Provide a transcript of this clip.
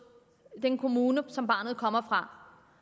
den kommune som barnet kommer fra